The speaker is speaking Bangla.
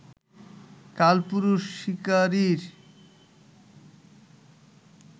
কালপুরুষ শিকারীর